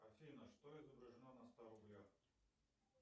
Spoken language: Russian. афина что изображено на ста рублях